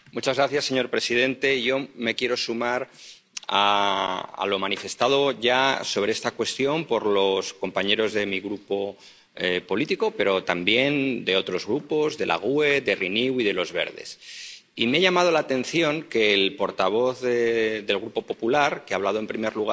Señor presidente, yo me quiero sumar a lo manifestado ya sobre esta cuestión por los compañeros de mi grupo político, pero también de otros grupos —GUE NGL, Renew y Verts ALE—, y me ha llamado la atención que el portavoz del Grupo popular —que ha hablado en primer lugar—